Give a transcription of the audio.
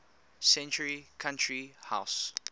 century country house